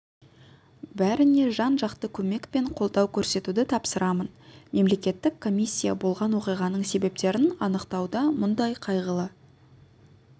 бәріне жан-жақты көмек пен қолдау көрсетуді тапсырамын мемлекеттік комиссия болған оқиғаның себептерін анықтауда мұндай қайғылы